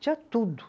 Tinha tudo.